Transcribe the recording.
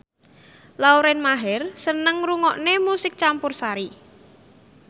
Lauren Maher seneng ngrungokne musik campursari